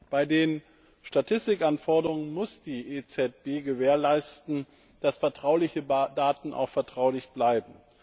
Bei den Statistikanforderungen muss die EZB gewährleisten, dass vertrauliche Daten auch vertraulich bleiben.